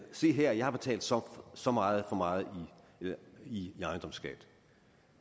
se her jeg har betalt så så meget for meget i ejendomsskat